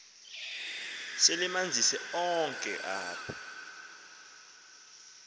selemanzise konke apha